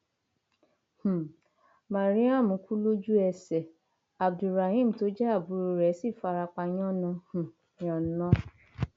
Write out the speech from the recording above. um mariam kú lójúẹsẹ abdu rahem tó jẹ àbúrò rẹ sì farapa yànnà um yànna